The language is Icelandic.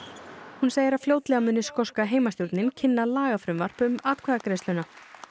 hún segir að fljótlega muni skoska heimastjórnin kynna lagafrumvarp um atkvæðagreiðsluna